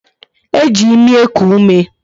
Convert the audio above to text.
E ji ịmị eku ume